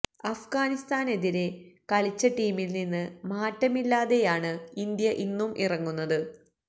അഫ്ഗാനിസ്ഥാനെതിരെ കളിച്ച ടീമില് നിന്ന് മാറ്റമില്ലാതെയാണ് ഇന്ത്യ ഇന്നും ഇറങ്ങുന്നത്